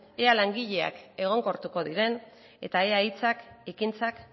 ea langileak egonkortuko diren eta ea hitzak ekintzak